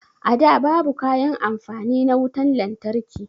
A da babu kayan amfani na wutan lantarki